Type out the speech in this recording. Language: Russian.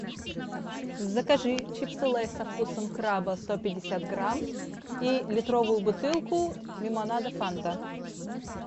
закажи чипсы лейс со вкусом краба сто пятьдесят грамм и литровую бутылку лимонада фанта